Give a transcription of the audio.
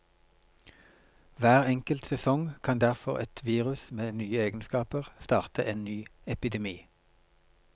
Hver enkelt sesong kan derfor et virus med nye egenskaper starte en ny epidemi.